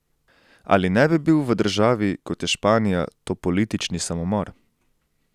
Ali ne bi bil v državi, kot je Španija, to politični samomor?